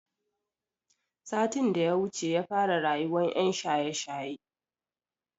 Satin daya wuce yafara rayuwan yan shaye shaye